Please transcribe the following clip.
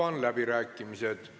Avan läbirääkimised.